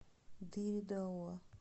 дыре дауа